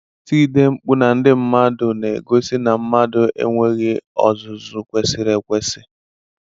I tigide ndị mmadụ mkpú na-egosi na mmadụ enweghị ọzụzụ kwesịrị ekwesị.